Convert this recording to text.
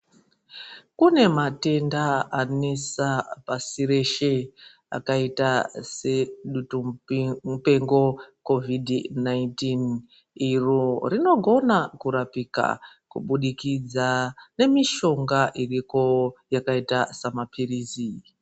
Kune matenda anesa pasi reshe rakaita sedutu mupengo kovhidhi 19 iro rinogona kurapika ubudikida nemishonga iriko yakaita semapiritsi.